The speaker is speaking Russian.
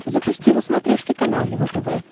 запусти на смотрешке канал его тв